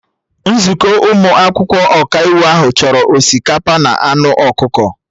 Nzukọ ụmụ akwụkwọ Ọkaiwu ahụ chọrọ osikapa na anụ ọkụkọ